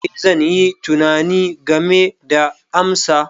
Ee, zan yi tunani game da amsa.